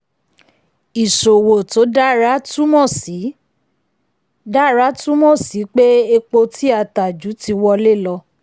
ìṣòwò tó dára túmọ̀ sí dára túmọ̀ sí pé epo tí a ta ju ti wọlé lọ.